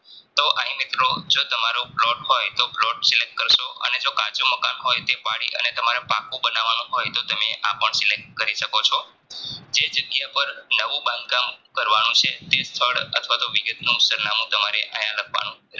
plot હોય તો plot Select કરસો અને કાચું મકાન હોય તો તેપડી અને પાકું બનાવવાનું હોય તો તમે આપણ Select કરી સક્સો